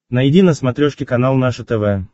найди на смотрешке канал наше тв